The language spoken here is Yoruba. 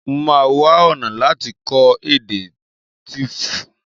Mo máa wá ọ̀nà láti kọ́ èdè Tíífù